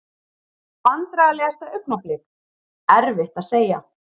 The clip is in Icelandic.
Vandræðalegasta augnablik: Erfitt að segja.